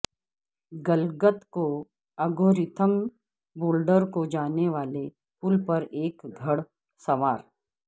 گلگت میں اگورتھم بولڈر کو جانے والے پل پر ایک گھڑ سوار